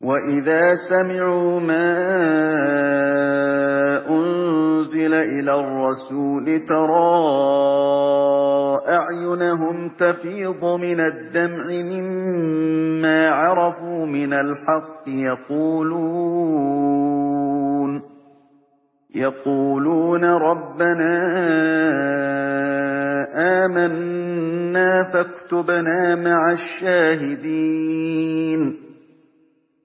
وَإِذَا سَمِعُوا مَا أُنزِلَ إِلَى الرَّسُولِ تَرَىٰ أَعْيُنَهُمْ تَفِيضُ مِنَ الدَّمْعِ مِمَّا عَرَفُوا مِنَ الْحَقِّ ۖ يَقُولُونَ رَبَّنَا آمَنَّا فَاكْتُبْنَا مَعَ الشَّاهِدِينَ